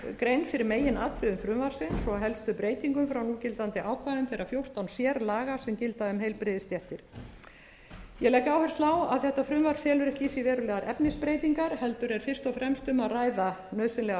grein fyrir meginatriðum frumvarpsins og helstu breytingum frá núgildandi ákvæðum þeirra fjórtán sérlaga sem gilda um heilbrigðisstéttir ég legg áherslu á að þetta frumvarp felur ekki í sér verulegar efnisbreytingar heldur er fyrst og fremst um að ræða nauðsynlega